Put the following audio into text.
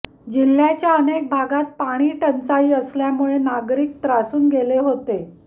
जिल्ह्याच्या अनेक भागात पाणी टंचाई असल्यामुळे नागरिक त्रासून गेले होते